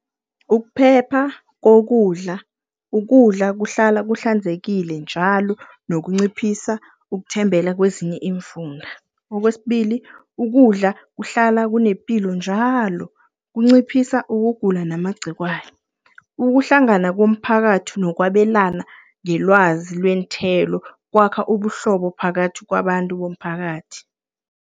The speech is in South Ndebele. Ukuphepha kokudla. Ukudla kuhlala kuhlanzekile njalo nokunciphisa ukuthembela kwezinye iimfunda. Okwesibili, ukudla kuhlala kunepilo njalo, kunciphisa ukugula namagcikwani. Ukuhlangana komphakathi nokwabelana ngelwazi lweenthelo, kwakha ubuhlobo phakathi kwabantu bomphakathi.